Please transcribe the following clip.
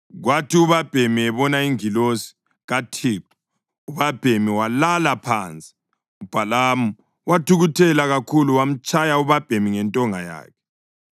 Kwathi ubabhemi ebona ingilosi kaThixo, ubabhemi walala phansi, uBhalamu wathukuthela kakhulu wamtshaya ubabhemi ngentonga yakhe.